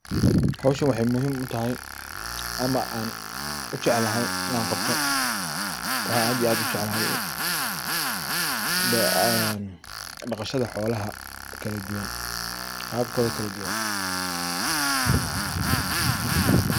Howshan waxey muhim u tahay ama ay muhim u tahay inan qabto. Waxa aan aad iyo aad u jeclahay inan qabto dhaqashadha xolaha qabkodha kaladuwan .